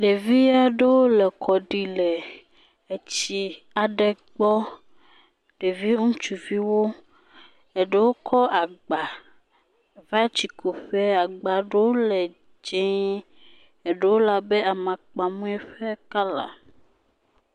Ɖevi aɖewo le kɔ ɖim le etsi aɖe gbɔ. Ɖevi ŋutsuviwo eɖewo kɔ agba va tsikuƒe. Agba ɖewo le dzie, eɖewo le abe amakpamui ƒe kɔla.